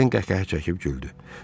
Den qəhqəhə çəkib güldü.